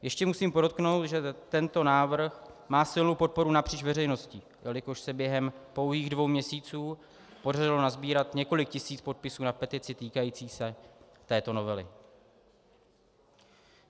Ještě musím podotknout, že tento návrh má silnou podporu napříč veřejností, jelikož se během pouhých dvou měsíců podařilo nasbírat několik tisíc podpisů na petici týkající se této novely.